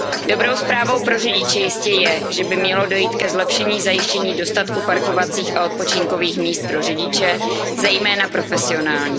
Dobrou zprávou pro řidiče jistě je, že by mělo dojít ke zlepšení zajištění dostatku parkovacích a odpočinkových míst pro řidiče, zejména profesionální.